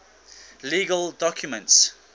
legal documents